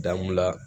Damula